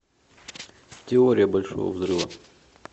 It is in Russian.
теория большого взрыва